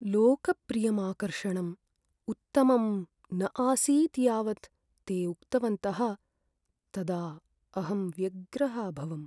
लोकप्रियम् आकर्षणम् उत्तमं न आसीत् यावत् ते उक्तवन्तः तदा अहं व्यग्रः अभवम्।